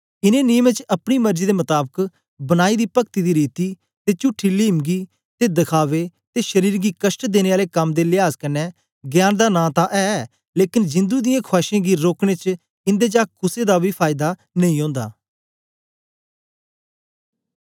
इनें नियमें च अपनी मर्जी दे मताबक बनाई दी पक्ति दी रीति ते चुठी लीमंगी ते दखावे ते शरीर गीं कष्ट देने आले कम दे लियाज कन्ने ज्ञान दा नां तां ऐ लेकन जिंदु दियें खुआशें गी रोकने च इंदे चा कुसे दा बी फायदा नेई ओंदा